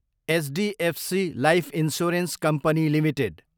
HDFC life insurance company Ltd